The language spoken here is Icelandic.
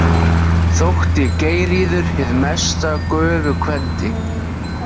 Þótti Geirríður hið mesta göfugkvendi.